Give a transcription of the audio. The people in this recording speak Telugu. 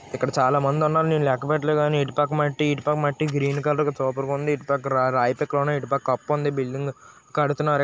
ఇక్కడ చాలామంది ఉన్నారు నేను లెక్క పెట్టలే కానీ ఇటుపక్క మట్టి ఇటుపక్క మట్టి గ్రీన్ కలర్ సూపర్ గా ఉంది ఇటుపక్క రాయి పెక్కలు ఉన్నాయి ఇటుపక్క కప్పు ఉంది బిల్డింగ్ కడుతున్నారు.